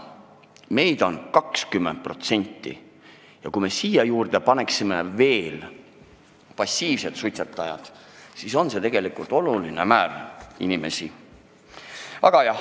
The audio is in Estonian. Meid on 20% elanikest ja kui me siia juurde arvame veel passiivsed suitsetajad, siis on see tegelikult oluline hulk inimesi.